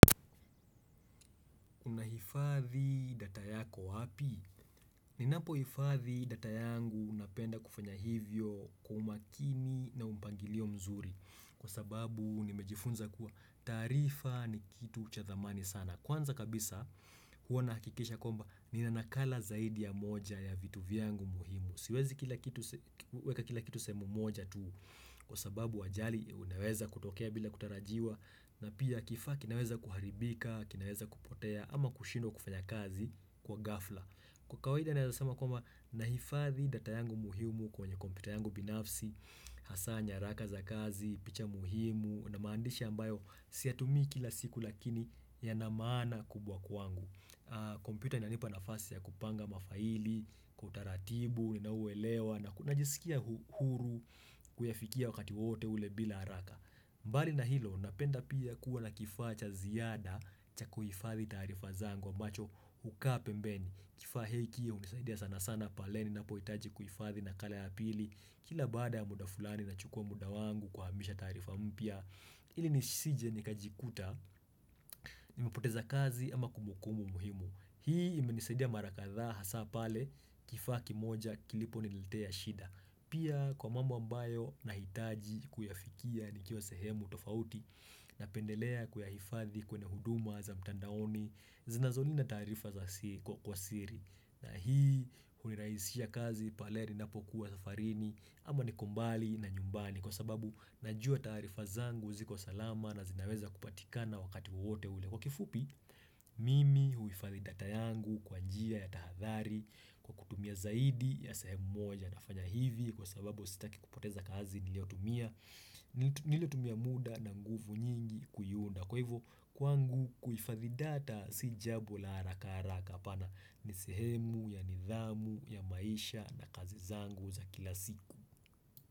Unahifadhi data yako wapi? Ninapohifadhi data yangu napenda kufanya hivyo kwa umakini na mpangilio mzuri kwa sababu nimejifunza kuwa taarifa ni kitu cha thamani sana. Kwanza kabisa huwa nahakikisha kwamba nina nakala zaidi ya moja ya vitu vyangu muhimu. Siwezi kila kitu weka kila kitu sehemu moja tu kwa sababu ajali inaweza kutokea bila kutarajiwa na pia kifaa kinaweza kuharibika, kinaweza kupotea ama kushindwa kufanya kazi kwa ghafla. Kwa kawaida naeza sema kwamba nahifadhi data yangu muhimu kwenye kompyuta yangu binafsi, hasaa nyaraka za kazi, picha muhimu na maandishi ambayo siyatumii kila siku lakini yana maana kubwa kwangu. Kompyuta inanipa nafasi ya kupanga mafaili, kwa utaratibu, ninauwelewa na kuna jisikia huru kuyafikia wakati wote ule bila haraka. Mbali na hilo napenda pia kuwa na kifaa cha ziada cha kuhifatdhi taarifa zangu ambacho hukaa pembeni. Kifaa hiki hunisaidia sana sana pale ninapohitaji kuhifadhi nakala ya pili kila baada ya muda fulani nachukua muda wangu kuhamisha taarifa mpya. Ili nisije nikajikuta, nimepoteza kazi ama kumbukumbu muhimu. Hii imenisidia mara kadhaa hasa pale kifaa kimoja kiliponilitea shida. Pia kwa mambo ambayo nahitaji kuyafikia nikiwa sehemu tofauti napendelea kuyahifadhi kwenye huduma za mtandaoni zinazolinda taarifa za kwa siri. Na hii hunirahishia kazi palei ninapokuwa safarini ama niko mbali na nyumbani Kwa sababu najua taarifa zangu ziko salama na zinaweza kupatikana wakati wote ule kwa kifupi Mimi huhifadhi data yangu kwa njia ya tahadhari kwa kutumia zaidi ya sehemu moja nafanya hivi Kwa sababu sitaki kupoteza kazi niliyotumia niliotumia muda na nguvu nyingi kuiunda Kwa hivyo, kwangu kuhifadhi data si jambo la haraka haraka hapana ni sehemu ya nidhamu ya maisha na kazi zangu za kila siku.